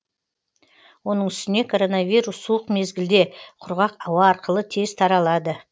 оның үстіне коронавирус суық мезгілде құрғақ ауа арқылы тез таралады